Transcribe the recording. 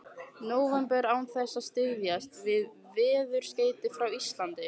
nóvember án þess að styðjast við veðurskeyti frá Íslandi.